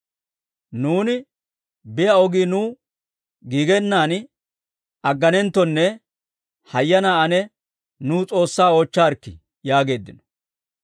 «Nuuni biyaa ogii nuw giigenan agganenttonne hayyanaa ane nuw S'oossaa oochcharikki» yaageeddino.